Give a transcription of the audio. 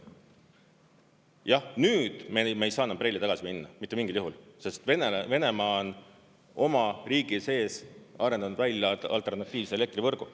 Jah, nüüd me ei saa enam BRELL-i tagasi minna, mitte mingil juhul, sest Venemaa on oma riigi sees arendanud välja alternatiivse elektrivõrgu.